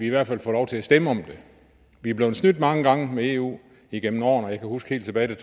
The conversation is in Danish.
i hvert fald får lov til at stemme om det vi er blevet snydt mange gange med eu igennem årene jeg kan huske helt tilbage